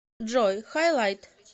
джой хай лайт